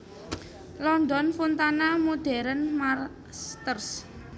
London Fontana Modern Masters